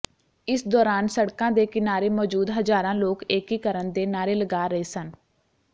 ਇਸ ਦੌਰਾਨ ਸੜਕਾਂ ਦੇ ਕਿਨਾਰੇ ਮੌਜੂਦ ਹਜ਼ਾਰਾਂ ਲੋਕ ਏਕੀਕਰਨ ਦੇ ਨਾਅਰੇ ਲਗਾ ਰਹੇ ਸਨ